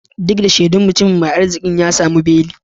Duk da shaidun, mutumin mai arzikin ya tsamu beli.